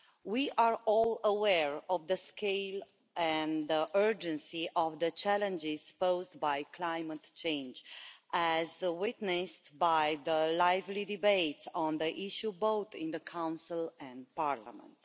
We are all aware of the scale and urgency of the challenges posed by climate change, as witnessed by the lively debates on the issue in both the Council and Parliament.